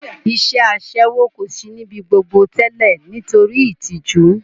Iṣẹ́ Aṣẹ́wó kò sí ní ibi gbogbo tẹ́lẹ̀ nítorí ìtìjú